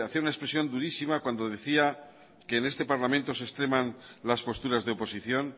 una expresión durísima cuando decía que en este parlamento se extreman las posturas de oposición